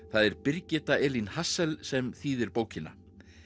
það er Birgitta Elín sem þýðir bókina